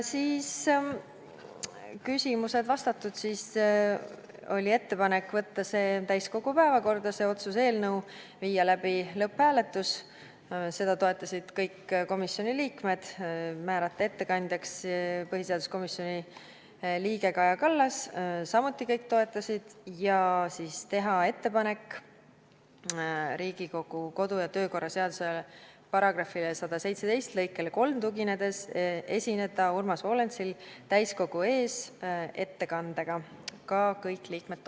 Kui küsimused vastatud, tehti ettepanek võtta see otsuse eelnõu täiskogu päevakorda, viia läbi lõpphääletus – seda toetasid kõik komisjoni liikmed –, määrata ettekandjaks põhiseaduskomisjoni liige Kaja Kallas – samuti kõik toetasid – ja teha ettepanek Urmas Volensile, tuginedes Riigikogu kodu- ja töökorra seaduse § 117 lõikele 3, esineda siin täiskogu ees ettekandega – sedagi toetasid kõik liikmed.